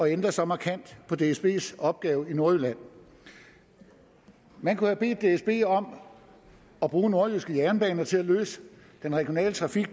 ændre så markant på dsbs opgave i nordjylland man kunne har bedt dsb om at bruge nordjyske jernbaner til at løse den regionale trafik